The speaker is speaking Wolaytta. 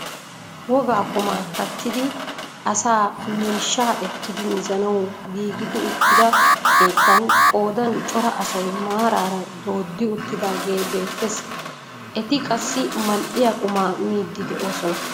Wogaa qumaa kattiidi asaa miishshaa ekkidi mizzanawu giigidi uttida keettan qoodan cora asay maaraara dooddi uttidagee beettees. eta qassi mal"iyaa qumaa miidi de'oosona.